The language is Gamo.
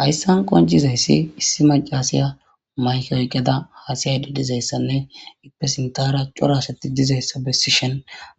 Hayssan qonccizayssi issi maccasiya mayke oyqqada hassayayde dizaysanne eepe sinthara cora asati dizayssa besishin